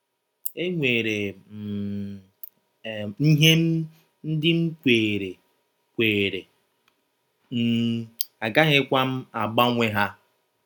“ Enwere um m ihe ndị m kweere, kweere, um agaghịkwa m agbanwe ha.